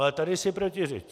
Ale tady si protiřečí.